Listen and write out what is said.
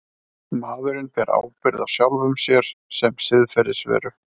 Maðurinn ber ábyrgð á sjálfum sér sem siðferðisveru.